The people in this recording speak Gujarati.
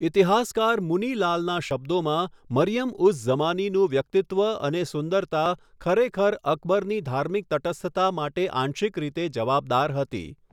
ઈતિહાસકાર મુની લાલના શબ્દોમાં, 'મરિયમ ઉઝ ઝમાનીનું વ્યક્તિત્વ અને સુંદરતા ખરેખર અકબરની ધાર્મિક તટસ્થતા માટે આંશિક રીતે જવાબદાર હતી.'